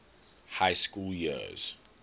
high school years